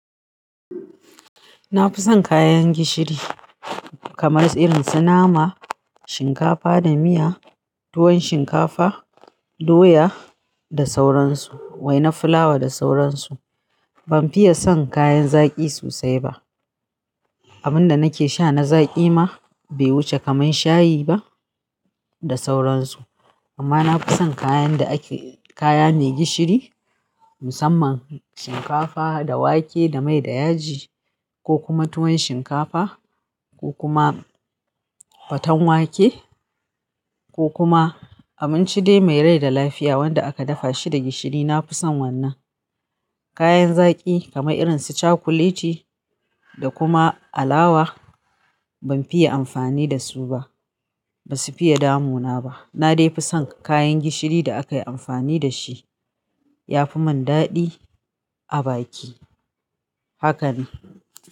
Na fi son kayan gishiri kamar irin su nama, shinkafa da miya, tuwon shinkafa, doya da sauransu, wainan fulawa da sauransu. Ban fiye son kayan zaki sosai ba. Abin da nake sha na zaki ma bai wuce kamar shayi ba da sauransu. Amma na fi son kayan da ake, kaya ne gishiri musamman shinkafa da wake da mai da yaji ko kuma tuwon shinkafa ko kuma faten wake ko kuma abinci dai mai rai da lafiya wanda aka dafa shi da gishiri. Na fi son wannan. Kayan zaki kamar irin su cakuleti da kuma alawa ban fiye amfani da su ba. Ba su fiye damuna ba. Na dai fi son kayan gishiri da aka yi amfani da shi. Ya fi mun daɗi a baki. Haka ne.